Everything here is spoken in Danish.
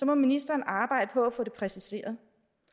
må ministeren arbejde på at få det præciseret